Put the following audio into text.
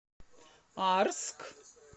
арск